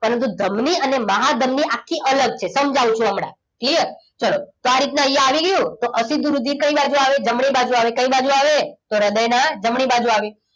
પરંતુ ધમની અને મહાધમની આખી અલગ છે સમજાવીશું હમણાં clear ચલો આ રીતના અહીંયા આવી ગયું અશુદ્ધ રુધિર કઈ બાજુ આવે જમણી બાજુ આવે કઈ બાજુ આવે તો હૃદયના જમણી બાજુ આવે